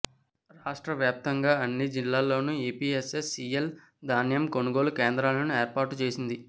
రాష్ట్ర వ్యాప్తంగా అన్ని జిల్లాల్లోనూ ఏపీఎస్ఎస సీఎల్ ధాన్యం కొనుగోలు కేంద్రాలను ఏర్పాటు చేసింది